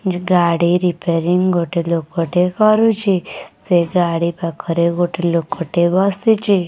ଗାଡ଼ି ରିପାରିଂ ଗୋଟେ ଲୋକଟେ କରୁଚି। ସେଇ ଗାଡ଼ି ପାଖରେ ଗୋଟେ ଲୋକଟେ ବସିଚି।